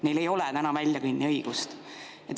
Neil ei ole täna väljakõnniõigust.